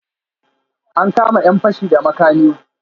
An kama 'yan fashi da makami?